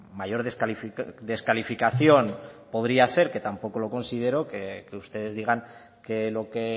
mayor descalificación podría ser que tampoco lo considero que ustedes digan que lo que